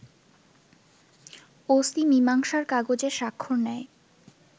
OC মীমাংসার কাগজে স্বাক্ষর নেয়